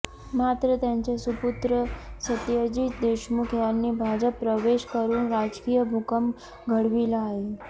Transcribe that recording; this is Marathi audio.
मात्र त्यांचे सुपुत्र सत्यजित देशमुख यांनी भाजप प्रवेश करुन राजकीय भूकंप घडविला आहे